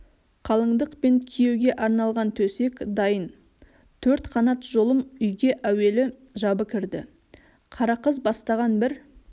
қалыңдық пен күйеуге арналған төсек дайын төрт қанат жолым үйге әуелі жабы кірді қарақыз бастаған бір